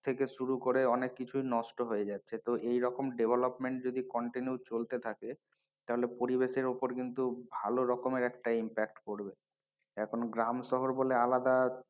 থেকে শুরু করে অনেক কিছুই নষ্ট হয়ে যাচ্ছে তো এইরকম development যদি continue চলতে থাকে তাহলে পরিবেশের ওপরে কিন্তু ভালো রকমের একটা impact পরবে এখন গ্রাম শহর বলে আলাদা,